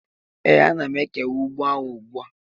ee, ana m ekewa ugbo ahụ ugbu a.